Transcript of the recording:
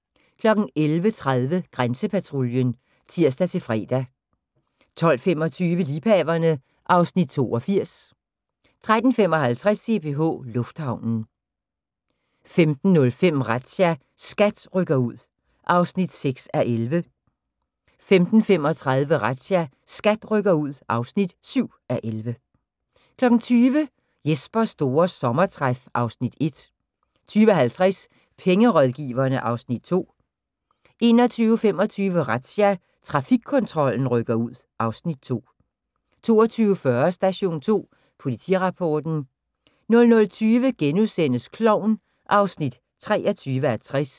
11:30: Grænsepatruljen (tir-fre) 12:25: Liebhaverne (Afs. 82) 13:55: CPH Lufthavnen 15:05: Razzia – SKAT rykker ud (6:11) 15:35: Razzia – SKAT rykker ud (7:11) 20:00: Jespers store sommertræf (Afs. 1) 20:50: Pengerådgiverne (Afs. 2) 21:25: Razzia – Trafikkontrollen rykker ud (Afs. 2) 22:40: Station 2 Politirapporten 00:20: Klovn (23:60)*